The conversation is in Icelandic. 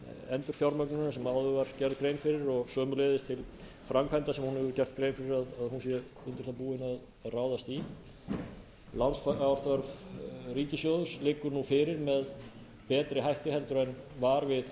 endurfjármögnunar sem áður var gerð grein fyrir og sömuleiðis til framkvæmda sem hún hefur gert grein fyrir að hún sé undir það búin að ráðast í lánsfjárþörf ríkissjóðs liggur nú fyrir með betri hætti en var við